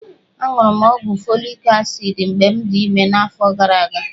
Aṅụrụ m ọgwụ folik asid mgbe m dị ime n'afọ gara aga.